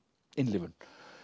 innlifun